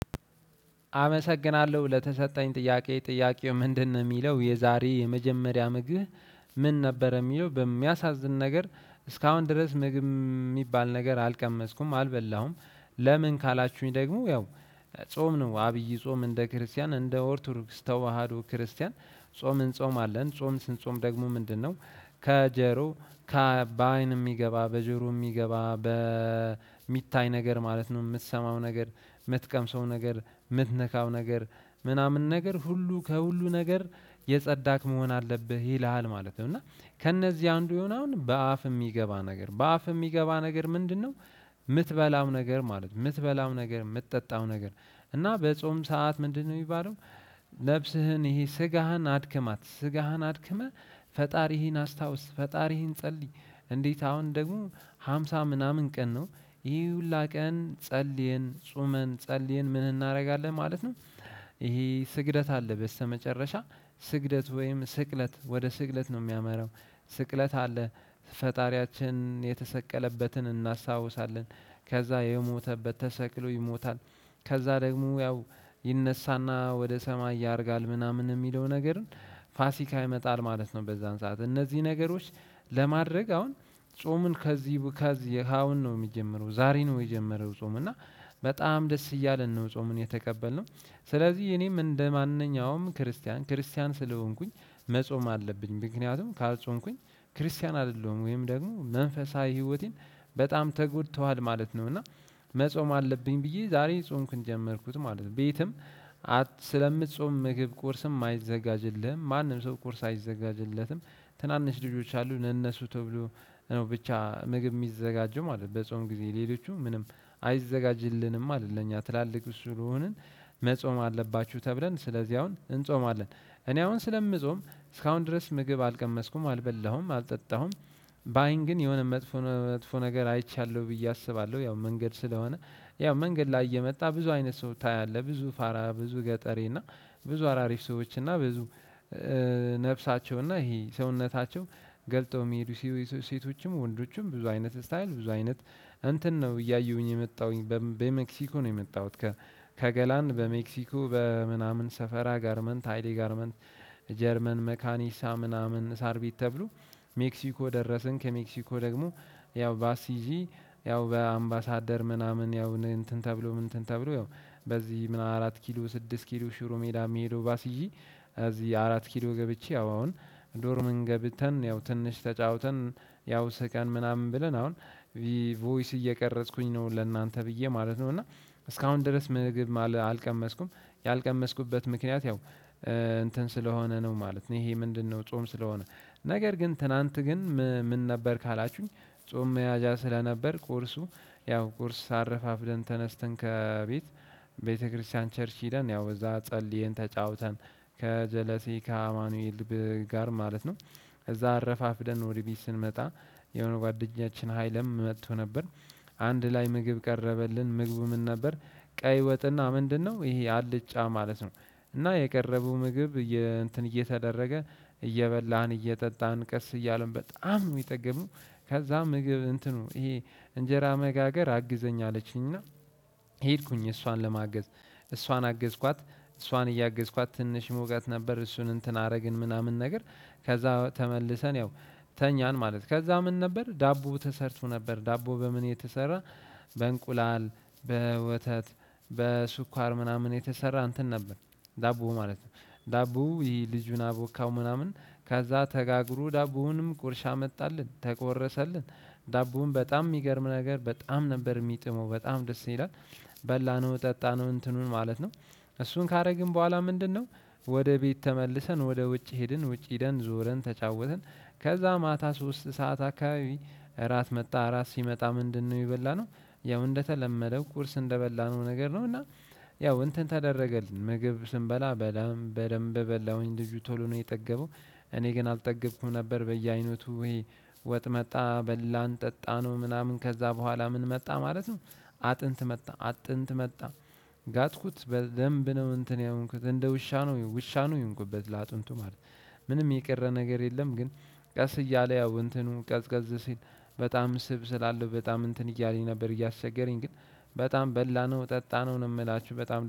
አመሰግናለሁ ለተሰጠኝ ጥያቄ ጥያቄው ምንድነው የሚለው የዛሬ የመጀመሪያ ምግብ? ምን ነበረ የሚለው በሚያሳዝን ነገር እስካሁን ድረስ ምግብ የሚባል ነገር አልቀመስኩም አልበላሁም። ለምን ካላችሁኝ ደግሞ ያው። ጾም ነው አብይ ጾም እንደ ክርስቲያን እንደ ኦርቶዶክስ ተዋህዶ ክርስቲያን ጾም እንጾማለን ጾም ስንጾም ደግሞ ምንድነው? ከጆሮ ከ በአይን የሚገባ በጆሮ የሚገባ በሚታይ ነገር ማለት ነው የምትሰማው ነገር የምትቀምሰው ነገር የምትነካው ነገር ምናምን ነገር ሁሉ ከሁሉ ነገር የጸዳክ መሆን አለብህ ይልሃል ማለት ነው። እና ከእነዚህ አንዱ የሆነው አሁን በአፍ የሚገባ ነገር በአፍ የሚገባ ነገር ምንድነው? የምትበላው ነገር ማለት ነው የምትበላው ነገር የምትጠጣው ነገር። እና በጾም ሰዓት ምንድነው የሚባለው? ነፍስህን ይሄ ስጋህን አድክማት ስጋህን አድክመህ ፈጣሪህን አስታውስ ፈጣሪህን ጸልይ። እንዴት አሁን ደግሞ ሃምሳ ምናምን ቀን ነው። ይሄ ሁላ ቀን ጸልየን ጾመን ጸልየን ምን እናደርጋለን ማለት ነው። ይሄ ስግደት አለ በስተመጨረሻ ስግደት ወይም ስቅለት ወደ ስግደት ነው የሚያመራው። ስቅለት አለ። ፈጣሪያችን የተሰቀለበትን እናስታውሳለን። ከዛ የሞተበት ተሰቅሎ ይሞታል። ከዛ ደግሞ ያው ይነሳና ወደ ሰማይ ያደርጋል ምናምን የሚለው ነገርን። ፋሲካ ይመጣል ማለት ነው። በዛን ሰዓት እነዚህ ነገሮች ለማድረግ አሁን ጾምን ከዚህ ከዚህ ከአሁን ነው የሚጀምረው ዛሬ ነው። የጀመረው ጾም እና በጣም ደስ እያለን ነው ጾምን የተቀበልነው። ስለዚህ እኔም እንደማንኛውም ክርስቲያን ክርስቲያን ስለሆንኩኝ። መጾም አለብኝ ምክንያቱም ካልጾምኩኝ ክርስቲያን አይደለሁም ወይም ደግሞ መንፈሳዊ ህይወቴን በጣም ተጎድቷል ማለት ነው። እና መጾም አለብኝ ብዬ ዛሬ ጾምኩኝ ጀመርኩት ማለት ነው። ቤትም ስለምትጾም ምግብ ቁርስም አይዘጋጅልህም ማንም ሰው ቁርስ አይዘጋጅለትም። ትናንሽ ልጆች አሉ ለነሱ ተብሎ ብቻ ምግብ የሚዘጋጀው ማለት ነው። በጾም ጊዜ ሌሎቹም ምንም አይዘጋጅልንም ለኛ ትላልቆች ስለሆንን መጾም አለባችሁ ተብለን ስለዚህ አሁን እንጾማለን። እኔ አሁን ስለምጾም እስካሁን ድረስ ምግብ አልቀመስኩም አልበላሁም አልጠጣሁም። በአይን ግን የሆነ መጥፎ መጥፎ ነገር አይቻለሁ ብዬ አስባለሁ ያው መንገድ ስለሆነ ያው መንገድ ላይ እየመጣ ብዙ አይነት ሰው ታያለህ። ብዙ ፋራ ብዙ ገጠሬ እና ብዙ አራሪፍ ሰዎች እና ብዙ ነፍሳቸው እና ይሄ ሰውነታቸው ገልጠው የሚሄዱ ሴቶችም ወንዶችም ብዙ አይነት ስታይል ብዙ አይነት እንትን ነው እያየሁኝ የመጣሁኝ በሜክሲኮ ነው የመጣሁት። ከገላን በሜክሲኮ በምናምን ሰፈራ ጋርመንት ሃይሌ ጋርመንት ጀርመን መካኒሳ ምናምን ሳርቤት ተብሎ ሜክሲኮ ደረስን። ከሜክሲኮ ደግሞ ያው ባስ ይዤ ያው በአምባሳደር ምናምን ያው እንትን ተብሎ ምን ተብሎ ያው በዚህ ምን አራት ኪሎ ስድስት ኪሎ ሽሮ ሜዳ የሚሄደው ባስ ይዤ። እዚህ አራት ኪሎ ገብቼ አሁን ዶርምም ገብተን ያው ትንሽ ተጫውተን ያው ስቀን ምናምን ብለን አሁን ቮይስ እየቀረጽኩኝ ነው ለእናንተ ብዬ ማለት ነው። እና እስካሁን ድረስ ምግብ አልቀመስኩም። ያልቀመስኩበት ምክንያት ያው እንትን ስለሆነ ነው ማለት ነው። ይሄ ምንድነው? ጾም ስለሆነ ነገር ግን ትናንት ግን ምን ነበር ካላችሁኝ። ጾም መያዣ ስለነበር ቁርሱ ያው ቁርስ አረፋፍደን ተነስተን ከቤት ቤተክርስቲያን ቸርሽ ሄደን ያው እዛ ጸልየን ተጫውተን ከጀለሴ ከአማኑኤል ጋር ማለት ነው። እዛ አረፋፍደን ወደ ቤት ስንመጣ የሆነ ጓደኛችን ኃይለም መጥቶ ነበር። አንድ ላይ ምግብ ቀረበልን ምግቡ ምን ነበር? ቀይ ወጥና ምንድነው ይሄ አልጫ ማለት ነው። እና የቀረቡ ምግብ እንትን እየተደረገ እየበላን እየጠጣን ቀስ እያለን በጣም ነው የጠገብነው። ከዛ ምግብ እንትኑ ይሄ እንጀራ መጋገር አግዘኝ አለችኝና። ሄድኩኝ እሷን ለማገዝ እሷን አገዝኳት። እሷን እያገዝኳት ትንሽ መውጋት ነበር እሱን እንትን አደረግን ምናምን ነገር። ከዛ ተመልሰን ያው ተኛን ማለት ከዛ ምን ነበር ዳቦ ተሰርቶ ነበር ዳቦ በምን የተሰራ? በእንቁላል በወተት በስኳር ምናምን የተሰራ እንትን ነበር። ዳቦ ማለት ነው። ዳቦ ይህ ልጁን አቦካው ምናምን ከዛ ተጋግሮ ዳቦውንም ቁርሻ መጣልን ተቆረሰልን። ዳቦውን በጣም የሚገርም ነገር በጣም ነበር የሚጥመው በጣም ደስ ይላል። በላነው ጠጣነው እንትኑን ማለት ነው። እሱን ካደረግን በኋላ ምንድነው? ወደ ቤት ተመልሰን ወደ ውጭ ሄድን ውጭ ሄደን ዞረን ተጫወትን። ከዛ ማታ ሶስት ሰዓት አካባቢ እራት መጣ እራት ሲመጣ ምንድነው የበላነው? ያው እንደተለመደው ቁርስ እንደበላነው ነገር ነው። እና ያው እንትን ተደረገልን ምግብ ስንበላ በደንብ በደንብ በላሁኝ ልጁ ቶሎ ነው የጠገበው። እኔ ግን አልጠገብኩም ነበር በየአይነቱ ወጥ መጣ በላን ጠጣነው ምናምን ከዛ በኋላ ምን መጣ ማለት ነው። አጥንት መጣ አጥንት መጣ። ጋጥኩት በደንብ ነው እንትን የሆንኩበት እንደ ውሻ ነው ውሻ ነው የሆንኩበት ለአጥንቱ ማለት ነው። ምንም የቀረ ነገር የለም። ግን ቀስ እያለ ያው እንትኑ ቀዝቀዝ ሲል በጣም ስብ ስላለው በጣም እንትን እያለኝ ነበር እያሰገረኝ ግን በጣም በላነው ጠጣነው ነው የምላችሁ በጣም